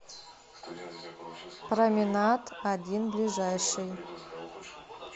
променад один ближайший